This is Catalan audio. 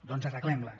doncs arreglem les